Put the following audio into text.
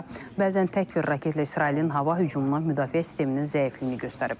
Hətta bəzən tək bir raketlə İsrailin hava hücumuna müdafiə sisteminin zəifliyini göstərib.